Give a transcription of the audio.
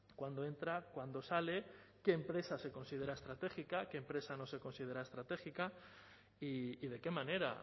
cuándo entra cuándo sale qué empresas se considera estratégica qué empresa no se considera estratégica y de qué manera